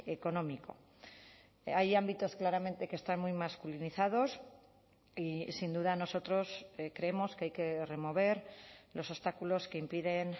económico hay ámbitos claramente que están muy masculinizados y sin duda nosotros creemos que hay que remover los obstáculos que impiden